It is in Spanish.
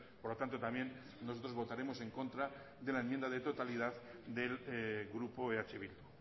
por lo tanto también nosotros votaremos en contra de la enmienda de totalidad del grupo eh bildu